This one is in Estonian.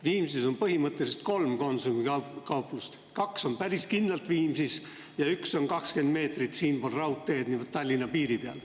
Viimsis on põhimõtteliselt kolm Konsumi kauplust, kaks on päris kindlalt Viimsis ja üks on 20 meetrit siinpool raudteed, niimoodi Tallinna piiri peal.